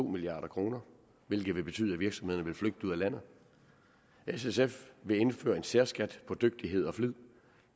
milliard kr hvilket vil betyde at virksomhederne vil flygte ud af landet s og sf vil indføre en særskat på dygtighed og flid